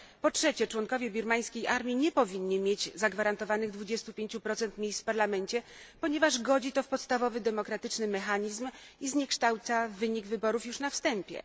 Po trzecie, członkowie birmańskiej armii nie powinni mieć zagwarantowanych 25 miejsc w parlamencie, ponieważ godzi to w podstawowy demokratyczny mechanizm i zniekształca wynik wyborów już na wstępie.